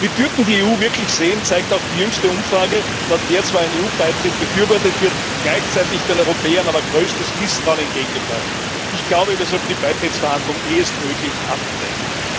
Wie Türken die EU wirklich sehen, zeigt auch die jüngste Umfrage, laut der zwar ein EU Beitritt befürwortet wird, gleichzeitig den Europäern aber größtes Misstrauen entgegengebracht wird. Wir sollten die Beitrittsverhandlungen ehestmöglich abbrechen!